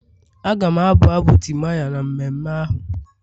Aga m abụ abụ timaya na mmemme ahụ.